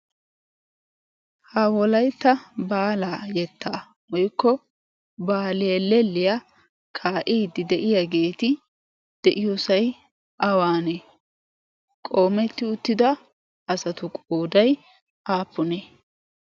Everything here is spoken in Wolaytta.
Ha wolaytta baala yetta woykko baali helelliyaa kaa'idi de'iyaageeti de'iyoosay awanne? qoommeti uttida asatu qooday aappunne?